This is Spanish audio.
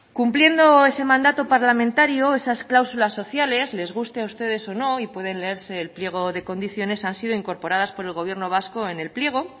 cumpliendo ese mandato parlamentario esas cláusulas sociales les guste a ustedes o no y pueden leerse el pliego de condiciones han sido incorporadas por el gobierno vasco en el pliego